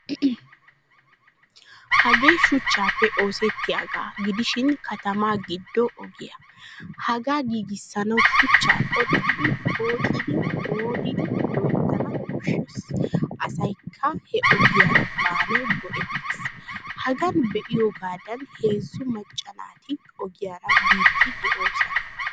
Hagee shuchchappe oosettiyaaga gidishin katama giddo ogiya. Hagaa giigisanawu shuchcha qoxxidi pooxxidi modidi loyttana koshshees. Asaykka he ogiyaara baanawu go'ettees. Hagaan be'iyogadan heezzu maccaa naati ogiyaara biidi de'oosona.